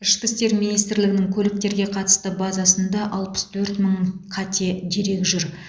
ішкі істер министрлігінің көліктерге қатысты базасында алпыс төрт мың қате дерек жүр